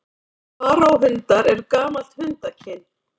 Faraó-hundar eru gamalt hundakyn.